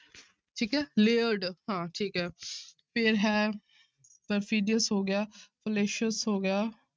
ਠੀਕ ਹੈ layered ਹਾਂ ਠੀਕ ਹੈ ਫਿਰ ਹੈ perfidious ਹੋ ਗਿਆ fallacious ਹੋ ਗਿਆ।